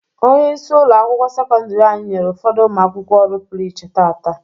Onyeisi ụlọ akwụkwọ sekọndiri anyị nyere ụfọdụ ụmụ akwụkwọ ọrụ pụrụ iche taata.